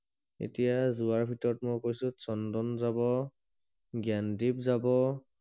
এতিয়া যোৱাৰ ভিতৰত কৈছো চন্দন যাব জ্ঞানদীপ যাব